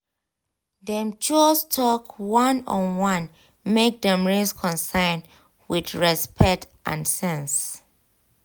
dem choose talk one-on-one make dem raise concern with respect and sense